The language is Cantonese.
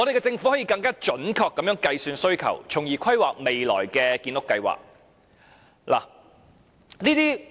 政府可以更準確地計算需求，從而規劃未來的建屋計劃。